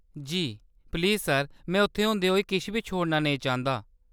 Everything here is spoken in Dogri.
जी, प्लीज सर, में उत्थै होंदे होई किश बी छोड़ना नेईं करना चांह्‌‌‌दा।